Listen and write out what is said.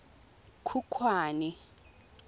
khukhwane